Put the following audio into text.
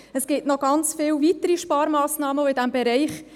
Es gibt noch ganz viele weitere Sparmassnahmen in diesem Bereich.